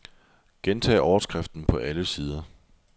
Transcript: Gentag overskriften på alle sider.